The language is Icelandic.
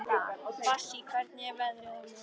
Bassí, hvernig er veðrið á morgun?